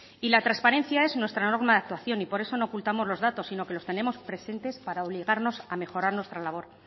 y la transparencia es nuestra norma de actuación y por eso no ocultamos los datos sino que los tenemos presentes para obligarnos a mejorar nuestra labor